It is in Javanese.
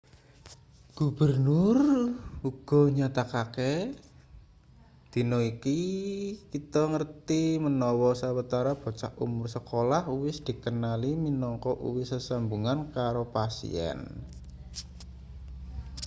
gubernur uga nyatakake dina iki kita ngerti menawa sawetara bocah umur sekolah uwis dikenali minangka uwis sesambungan karo pasien